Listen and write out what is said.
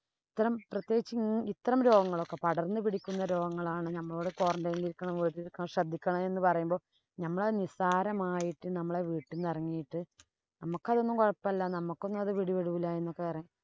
ഇത്തരം പ്രത്യേകിച്ച് ഇത്തരം രോഗങ്ങളൊക്കെ പടര്‍ന്നു പിടിക്കുന്ന രോഗങ്ങളാണ് നമ്മള് quarantine ഇല്‍ ഇരിക്കണം, വീട്ടിലിരിക്കണം ശ്രദ്ധിക്കണം എന്ന് പറയുമ്പോ നമ്മളത് നിസാരമായിട്ടു നമ്മള് വീട്ടിന്നു ഇറങ്ങിയിട്ട് നമ്മക്കതൊന്നും കൊഴപ്പമില്ല, നമ്മക്കൊന്നും അത് പിടിപെടൂല എന്നൊക്കെ